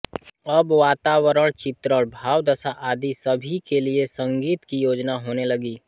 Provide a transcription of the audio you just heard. अब वातावरण चित्रण भावदशा आदि सभी के लिए संगीत की योजना होने लगी